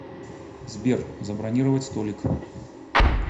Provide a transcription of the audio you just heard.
сбер забронировать столик